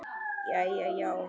Jæja já, einmitt það.